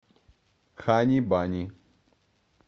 хани бани